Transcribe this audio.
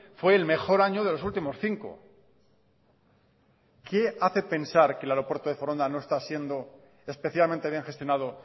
fue el mejor año de los últimos cinco qué hace pensar que el aeropuerto de foronda no está siendo especialmente bien gestionado